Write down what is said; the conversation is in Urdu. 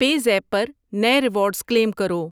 پے زیپ پر نئے ریوارڈز کلیم کرو۔